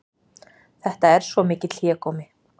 Þetta er svo mikill hégómi